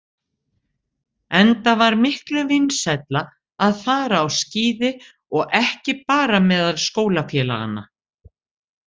Enda var miklu vinsælla að fara á skíði, og ekki bara meðal skólafélaganna.